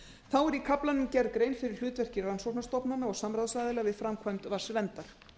þá er í kaflanum gerð grein fyrir hlutverki rannsóknarstofnana og samráðsaðila við framkvæmd vatnsverndar